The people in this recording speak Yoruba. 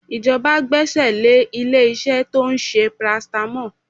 Ìjọba gbẹ́aẹ̀ lé ilé-iṣẹ́ tó ń ṣe paracetamol